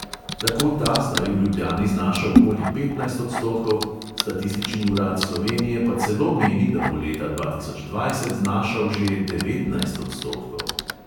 Tako ta zdaj v ljubljani znaša okoli petnajst odstotkov, statistični urad slovenije pa celo meni, da bo leta dva tisoč dvajset znašal že devetnajst odstotkov.